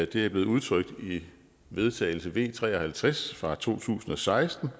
det er blevet udtrykt i vedtagelse v tre og halvtreds fra to tusind og seksten